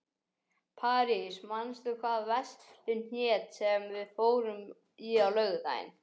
París, manstu hvað verslunin hét sem við fórum í á laugardaginn?